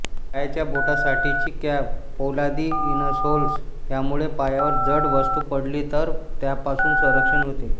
पायाच्या बोटांसाठीची कॅप पोलादी इनसोल्स यामुळे पायावर जड वस्तू पडली तर त्यापासून संरक्षण होते